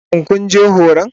Shin kun je horon?